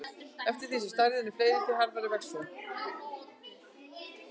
Eftir því sem stærðin er meiri, því hraðar vex hún.